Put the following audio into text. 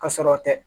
Ka sɔrɔ tɛ